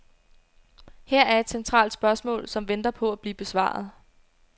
Her er et centralt spørgsmål, som venter på at blive besvaret.